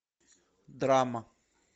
драма